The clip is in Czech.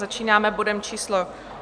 Začínáme bodem číslo